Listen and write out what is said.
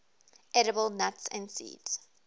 edible nuts and seeds